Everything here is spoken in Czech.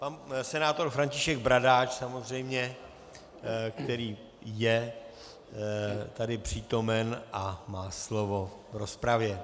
Pan senátor František Bradáč, samozřejmě, který je tady přítomen a má slovo v rozpravě.